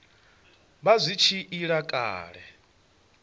vha zwi tshi ila kale